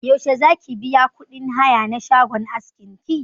Yaushe zaki biya kuɗin haya na shagon askin ki?